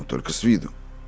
только с виду